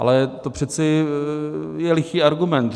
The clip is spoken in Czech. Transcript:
Ale to je přece lichý argument.